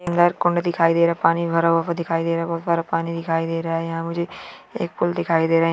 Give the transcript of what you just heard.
यहाँ कुंड दिखायी दे रहा है पानी भरा हुआ दिखायी दे रहा है बहुत सारा पानी दिखायी दे रहा है यहाँ मुझे एक पुल दिखायी दे रहा है।